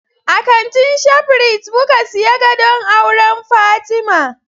A kantin Shaprit muka siyi gadon auran Fatima